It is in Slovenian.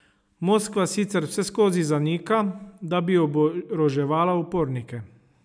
Moskva sicer vseskozi zanika, da bi oboroževala upornike.